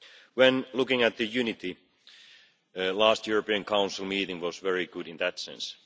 When looking at unity, the last European Council meeting was very good in that sense.